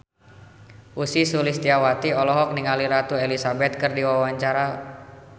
Ussy Sulistyawati olohok ningali Ratu Elizabeth keur diwawancara